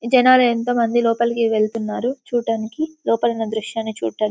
ఈ జనులు ఎంతో మంది లోపలికి వెళ్తున్నారు చూడడానికి లోపాల ఉన్న దృశాన్ని చూడ --